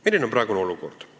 Milline on praegune olukord?